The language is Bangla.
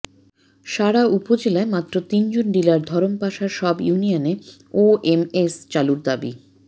সারা উপজেলায় মাত্র তিনজন ডিলার ধরমপাশার সব ইউনিয়নে ওএমএস চালুর দাবি